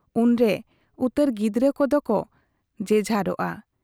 ᱚᱱᱨᱮ ᱩᱛᱟᱹᱨ ᱜᱤᱫᱽᱨᱟᱹ ᱠᱚᱫᱚ ᱠᱚ ᱡᱮᱡᱷᱟᱨᱚᱜᱼᱟ ᱾